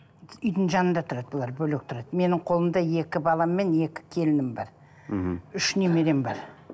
үйдің жанында тұрады бұлар бөлек тұрады менің қолымда екі балам мен екі келінім бар мхм үш немерем бар